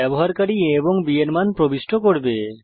ব্যবহারকারী a এবং b এর মান প্রবিষ্ট করবে